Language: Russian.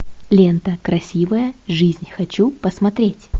лента красивая жизнь хочу посмотреть